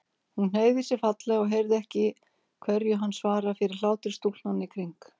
Hún hneigði sig fallega og heyrði ekki hverju hann svaraði fyrir hlátri stúlknanna í kring.